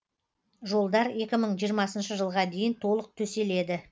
жолдар екі мың жиырмасыншы жылға дейін толық төселеді